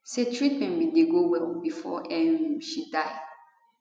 say treatment bin dey go well bifor um she die